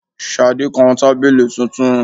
Ṣadé kan tábìlì tuntun.